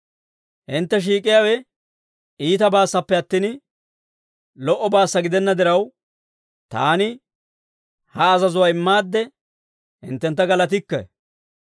Hintte shiik'iyaawe iitabaassappe attin, lo"obaassa gidenna diraw, taani ha azazuwaa immaadde hinttentta galatikke.